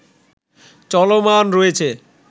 চলমান রয়েছে